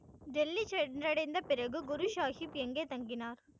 டெல்லி சென்றடைந்த பிறகு குரு சாஹிப் எங்கே தங்கினார்